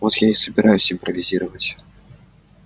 вот я и собираюсь импровизировать